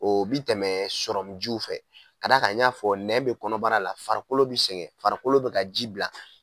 O bi tɛmɛ sɔrɔmu jiw fɛ ka d'a kan n y'a fɔ nɛn bɛ kɔnɔbara la farikolo bɛ sɛgɛn farikolo bɛ ka ji bila